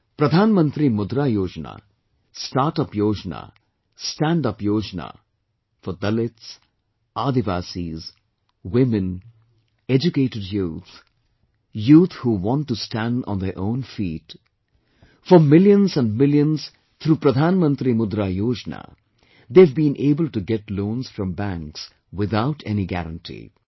Pradhan Mantri Mudra Yojna, Start Up Yojna, Stand Up Yojna for Dalits, Adivasis, women, educated youth, youth who want to stand on their own feet for millions and millions through Pradhan Mantri Mudra Yojna, they have been able to get loans from banks without any guarantee